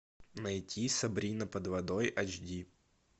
найти сабрина под водой айч ди